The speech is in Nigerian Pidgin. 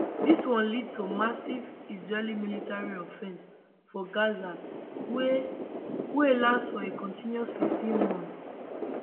dis one lead to massive israeli military offensive for gaza wey wey last for a continuous 15 months